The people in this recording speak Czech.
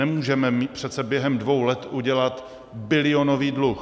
Nemůžeme přece během dvou let udělat bilionový dluh.